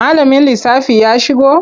Malamin lissafi ya shigo?